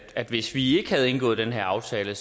at hvis vi ikke havde indgået den her aftale